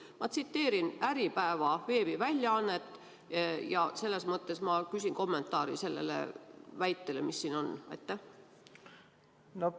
Ma tsiteerisin Äripäeva veebiväljaannet ja küsin kommentaari sellele väitele, mis siin on esitatud.